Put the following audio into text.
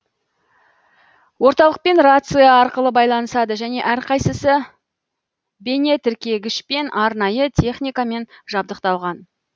орталықпен рация арқылы байланысады және әрқайсысы бейнетіркегішпен арнайы техникамен жабдықталған